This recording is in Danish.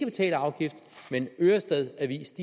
betale afgift mens ørestad avis